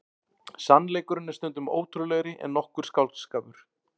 Sannleikurinn er stundum ótrúlegri en nokkur skáldskapur.